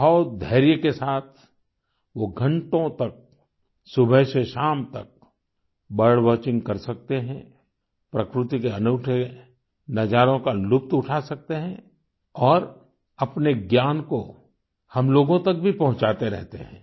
बहुत धैर्य के साथ वो घंटों तक सुबह से शाम तक बर्ड वॉचिंग कर सकते हैं प्रकृति के अनूठे नजारों का लुत्फ़ उठा सकते हैं और अपने ज्ञान को हम लोगों तक भी पहुंचाते रहते हैं